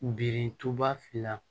Birintuba fila